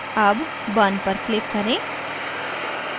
अब burn पर click करें